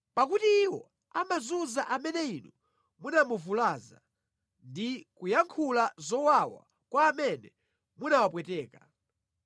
Pakuti iwo amazunza amene inu munamuvulaza ndi kuyankhula zowawa kwa amene munawapweteka.